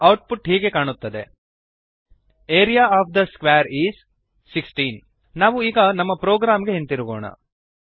output ಹೀಗೆ ಕಾಣುತ್ತದೆ area of the square is 16 ನಾವು ಈಗ ನಮ್ಮ ಪ್ರೋಗ್ರಾಂ ಗೆ ಹಿಂದಿರುಗೋಣ